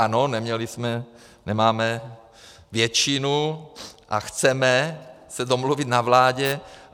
Ano, neměli jsme, nemáme většinu a chceme se domluvit na vládě.